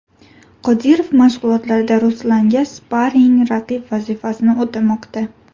Qodirov mashg‘ulotlarda Ruslanga sparing-raqib vazifasini o‘tamoqda.